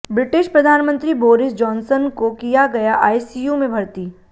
British प्रधानमंत्री Boris Johnson को किया गया आईसीयू में भर्ती